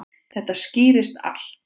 Þetta skýrist allt.